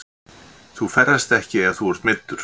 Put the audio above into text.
Þú ferðast ekki ef þú ert meiddur.